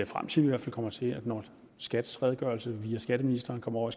frem til at vi kommer til når skats redegørelse via skatteministeren kommer over